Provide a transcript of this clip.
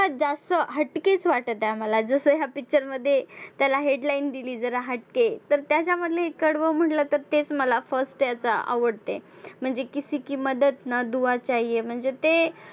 जास्त हटकेच वाटत आहे मला जसं ह्या picture मध्ये त्याला headline दिली जरा हटके तर त्याच्यामधले एक कडवं म्हंटलं तर तेच मला first याचा आवडते. म्हणजे किसी की मदद ना दुआ चाहिये म्हणजे ते